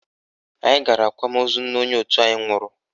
Anyị gara akwamozu nne onye òtù anyị nwụrụ